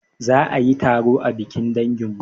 Za ayi taro a bikin danginmu